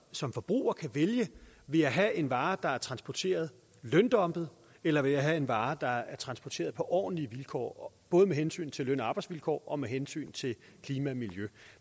som forbrugere kan vælge vil jeg have en vare der er transporteret løndumpet eller vil jeg have en vare der er transporteret på ordentlige vilkår både med hensyn til løn og arbejdsvilkår og med hensyn til klima og miljø